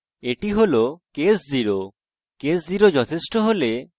এটি হল case 0 case 0 যথেষ্ট হলে